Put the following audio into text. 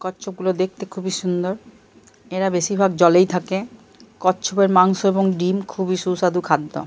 কচ্ছপগুলো দেখতে খুবই সুন্দর। এরা বেশিরভাগ জলেই থাকে। কচ্ছপের মাংস এবং ডিম্ খুবই সুস্বাদু খাদ্য।